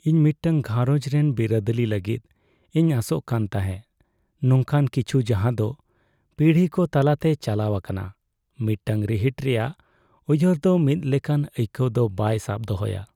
ᱤᱧ ᱢᱤᱫᱴᱟᱝ ᱜᱷᱟᱨᱚᱸᱡᱽ ᱨᱮᱱ ᱵᱤᱨᱟᱹᱫᱟᱹᱞᱤ ᱞᱟᱹᱜᱤᱫ ᱤᱧ ᱟᱥᱚᱜ ᱠᱟᱱ ᱛᱟᱦᱮᱸ , ᱱᱚᱝᱠᱟᱱ ᱠᱤᱪᱷᱩ ᱡᱟᱦᱟᱸᱫᱚ ᱯᱤᱲᱦᱤ ᱠᱚ ᱛᱟᱞᱟᱛᱮ ᱪᱟᱞᱟᱣ ᱟᱠᱟᱱᱟ ᱾ ᱢᱤᱫᱴᱟᱝ ᱨᱤᱦᱤᱴ ᱨᱮᱭᱟᱜ ᱩᱭᱦᱟᱹᱨ ᱫᱚ ᱢᱤᱫ ᱞᱮᱠᱟᱱ ᱟᱹᱭᱠᱟᱹᱣ ᱫᱚ ᱵᱟᱭ ᱥᱟᱵ ᱫᱚᱦᱚᱭᱟ ᱾